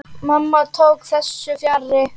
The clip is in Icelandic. Mamma tók þessu fjarri.